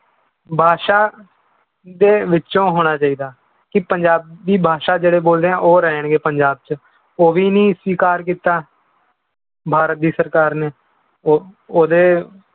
ਭਾਸ਼ਾ ਦੇ ਵਿੱਚੋਂ ਹੋਣਾ ਚਾਹੀਦਾ, ਕਿ ਪੰਜਾਬੀ ਭਾਸ਼ਾ ਜਿਹੜੇ ਬੋਲ ਰਹੇ ਹੈ ਉਹ ਰਹਿਣਗੇ ਪੰਜਾਬ 'ਚ ਉਹ ਵੀ ਨੀ ਸਵੀਕਾਰ ਕੀਤਾ ਭਾਰਤ ਦੀ ਸਰਕਾਰ ਨੇ ਉਹ ਉਹਦੇ